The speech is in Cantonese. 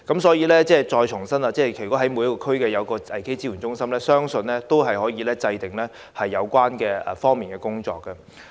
所以，要重申的是，如果每區都能設立危機支援中心，相信可以有系統地制訂有關工作。